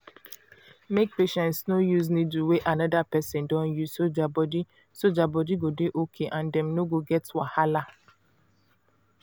make patients no use needle wey another person don use so their body so their body go dey okay and dem no go get wahala